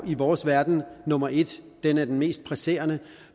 i vores verden nummer et den er den mest presserende